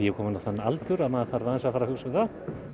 kominn á þann aldur að maður þarf aðeins að fara að hugsa um það